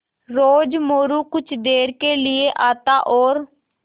रोज़ मोरू कुछ देर के लिये आता और